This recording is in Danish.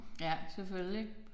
Ja selvfølgelig